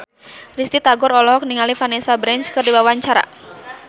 Risty Tagor olohok ningali Vanessa Branch keur diwawancara